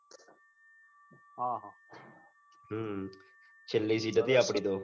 છેલ્લી seat હતી આપડે તો